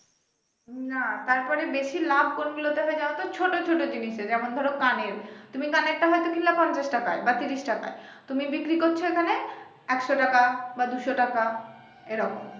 না তারপরে বেশি লাভ কোনগুলোতে হবে জানতো ছোট ছোট জিনিসের যেমন ধরো কানের তুমি কানের টা হয়তো কিনলা পঞ্চাশ টাকায় বা ত্রিশ টাকায় তুমি বিক্রি করছো এখানে একশো টাকা বা দুশো টাকা এরকম